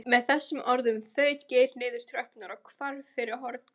Með þessum orðum þaut Geir niður tröppurnar og hvarf fyrir hornið.